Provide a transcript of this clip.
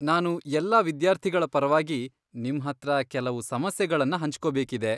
ನಾನು ಎಲ್ಲಾ ವಿದ್ಯಾರ್ಥಿಗಳ ಪರವಾಗಿ ನಿಮ್ಹತ್ರ ಕೆಲವು ಸಮಸ್ಯೆಗಳನ್ನ ಹಂಚ್ಕೊಬೇಕಿದೆ.